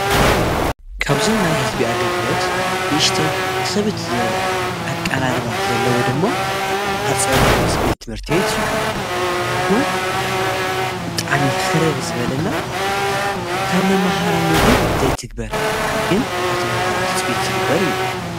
ካብዞም ናይ ህዝቢ ኣገልግሎት ንእሽተይ ኽብድ ዝበለ ኣቀራርባ ዘለዎ ደሞ ሀፄ ዮሀንስ ቤት ትምርቲቤት እዩ። ሕጉ ብጣዕሚ ኽርር ዝበለና ካብ መምህራን እውን ዘይትግበር ግን ካብ ቶምሃሮ ትፅቢት ዝግበር እዩ።